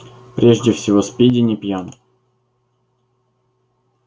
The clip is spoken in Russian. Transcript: прежде всего спиди не пьян